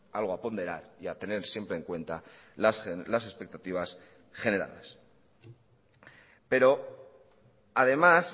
algo a ponderar y a tener siempre en cuenta las expectativas generadas pero además